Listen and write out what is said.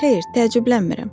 Xeyr, təəccüblənmirəm.